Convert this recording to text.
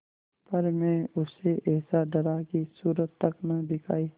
पर मैं उससे ऐसा डरा कि सूरत तक न दिखायी